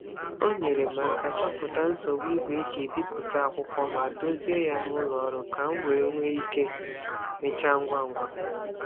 O nyeere m aka chọpụta nsogbu igwe e ji ebipụta akwụkwọ ma dozie ya n'ụlọ ọrụ ka m wee nwee ike mechaa ngwa ngwa.